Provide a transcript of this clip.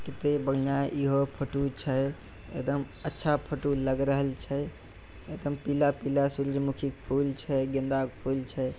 कते बढ़िया इहो फोटो छै एकदम अच्छा फोटो लग रहल छै एकदम पीला-पीला सूरजमुखी के फूल छै गेंदा के फूल छै।